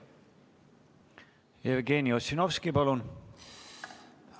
Jevgeni Ossinovski, palun!